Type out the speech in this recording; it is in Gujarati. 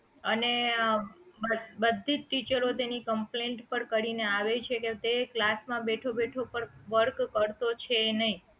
અને આ બધીજ ટીચરો તેની complaint પણ કરીને આવે છે કે તે class માં બેઠો બેઠો પણ work કરતો છે નહીં